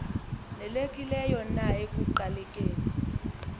nelekileyo na ekuqalekeni